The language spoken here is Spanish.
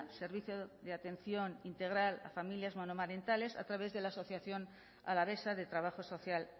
servicio de atención integral a familias monomarentales a través de la asociación alavesa de trabajo social